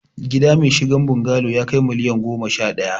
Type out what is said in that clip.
Gida mai shigen bungalo yakai miliyan goma sha daya